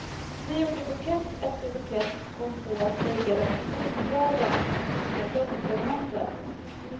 Vi gjorde bukett efter bukett och kom på att lägga dem på gungbrädan och öppna blomsterhandel.